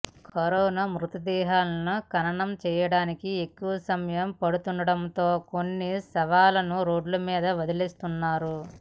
corona మృతదేహాలను ఖననం చేయడానికి ఎక్కువ సమయం పడుతుండడంతో కొన్ని శవాలను రోడ్డు మీద వదిలేస్తున్నారు